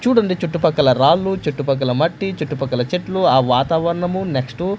చూడండి చుట్టుపక్కల రాళ్ళు చుట్టుపక్కల మట్టి చుట్టుపక్కల చెట్లు ఆ వాతావరణము నెక్స్ట్ .